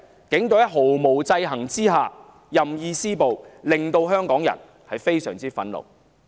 警隊在毫無制衡之下任意施暴，令香港人非常憤怒。